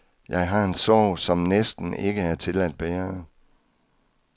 Jeg har en sorg, som næsten ikke er til at bære.